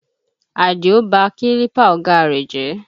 Àdìó ba kílípà ọ̀gá á rẹ̀ jẹ́